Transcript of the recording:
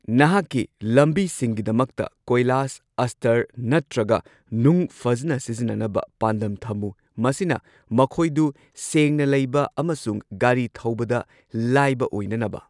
ꯅꯍꯥꯛꯀꯤ ꯑꯦꯄꯣꯏꯟꯠꯃꯦꯟꯠꯇꯒꯤ ꯀꯣꯏꯂꯥꯁ, ꯑꯁꯇꯔ ꯅꯠꯇ꯭ꯔꯒ ꯅꯨꯡ ꯐꯖꯅ ꯁꯤꯖꯤꯟꯅꯅꯕ ꯄꯥꯟꯗꯝ ꯊꯝꯃꯨ ꯃꯁꯤꯅ ꯃꯈꯣꯏꯗꯨ ꯁꯦꯡꯅ ꯂꯩꯕ ꯑꯃꯁꯨꯡ ꯒꯥꯔꯤ ꯊꯧꯕꯗ ꯂꯥꯏꯕ ꯑꯣꯏꯅꯅꯕ꯫